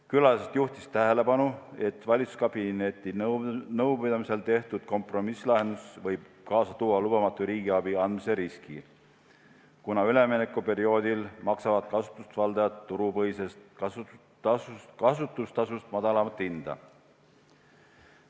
Külalised juhtisid tähelepanu, et valitsuskabineti nõupidamisel tehtud kompromisslahendus võib kaasa tuua lubamatu riigiabi andmise riski, kuna üleminekuperioodil maksavad kasutusvaldajad turupõhisest kasutustasust madalamat hinda.